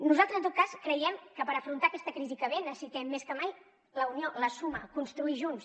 nosaltres en tot cas creiem que per afrontar aquesta crisi que ve necessitem més que mai la unió la suma construir junts